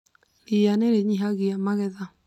Ria nĩ rĩnyihagia magetha